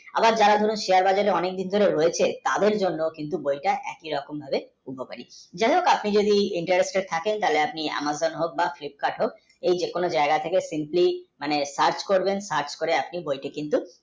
আবার যারা share বাজারে অনেক দিন ধরে রয়েছে তাদের জন্য কিন্তু বইটা একি রকম আপনি যদি interested থাকেন তাহলে আপনি AmazonFlipkart হোক যে কোনও যায়গায় থেকে search করে আপনি কিন্তু